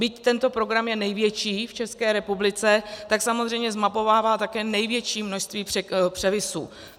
Byť tento program je největší v České republice, tak samozřejmě zmapovává také největší množství převisů.